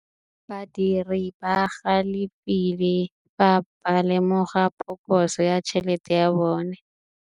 Badiri ba galefile fa ba lemoga phokotsô ya tšhelête ya bone.